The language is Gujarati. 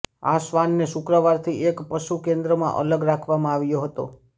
આ શ્વાનને શુક્રવારથી એક પશુ કેન્દ્રમાં અલગ રાખવામાં આવ્યો હતો